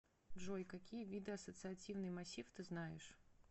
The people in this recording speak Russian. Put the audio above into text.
джой какие виды ассоциативный массив ты знаешь